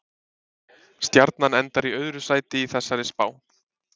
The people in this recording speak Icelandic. Stjarnan endar í öðru sæti í þessari spá.